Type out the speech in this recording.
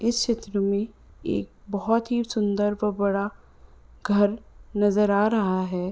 इस चित्र में एक बहोत ही सुंन्दर और बड़ा घर नजर आ रहा है।